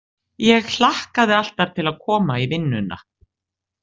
Ég hlakkaði alltaf til að koma í vinnuna.